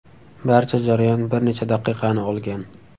Barcha jarayon bir necha daqiqani olgan.